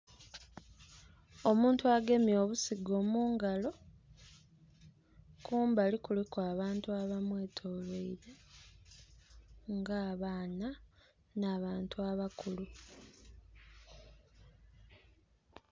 Omuntu agemye obusigo mungalo, kumbali kuliku abantu aba mwetolweire nga abaana na bantu abakulu.